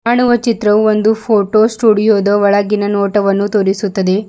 ಕಾಣುವ ಚಿತ್ರವು ಒಂದು ಫೋಟೋ ಸ್ಟೂಡಿಯೋದು ಒಳಗಿನ ನೋಟವನ್ನು ತೋರಿಸುತ್ತದೆ.